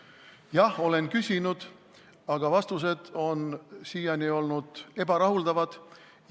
Jah, olen küsinud, aga vastused on siiani olnud ebarahuldavad.